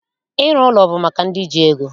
Ịrụ ụlọ bụ maka ndị ji ego